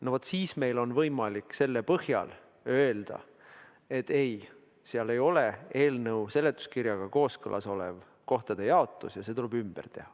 No vaat, siis meil on võimalik selle põhjal öelda, et ei, seal ei ole eelnõu seletuskirjaga kooskõlas olev kohtade jaotus ja see tuleb ümber teha.